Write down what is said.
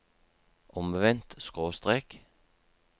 omvendt skråstrek